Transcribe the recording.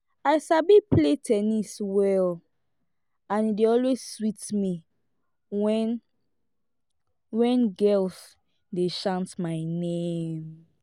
i sabi play ten nis well and e dey always sweet me wen wen girls dey chant my name